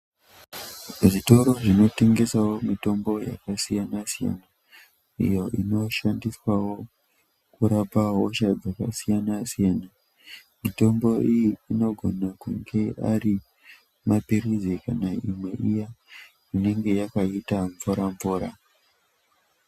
Zvitoro zvinotengesawo mitombo yakasiyanasiyana iyo inoshandiswawo kurapawo hosha dzakasiyanasiyana mitombo iyi inogone kunge arimapilizi kana imwe iya inenge yakaita mvuramvura.